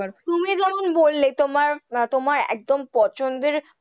তুমি যেমন বললে তোমার তোমার একদম পছন্দের,